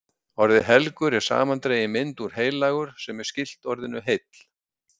Orðið helgur er samandregin mynd úr heilagur, sem er skylt orðinu heill.